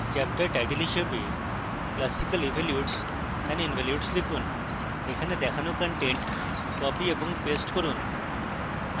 chapter title হিসাবে classical evolutes and involutes লিখুন